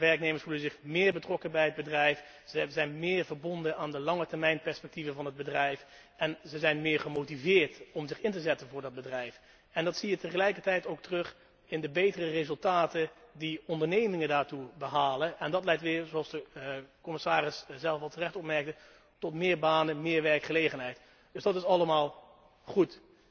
Werknemers voelen zich meer betrokken bij het bedrijf, zijn meer verbonden aan de langetermijnperspectieven van het bedrijf en ze zijn meer gemotiveerd om zich in te zetten voor dat bedrijf. Dat zie je dan tegelijkertijd ook terug in de betere resultaten die ondernemingen daardoor behalen. En dat leidt weer, zoals de commissaris zelf al terecht opmerkte, tot meer banen, meer werkgelegenheid. Dus dat is allemaal goed.